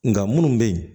Nka minnu bɛ yen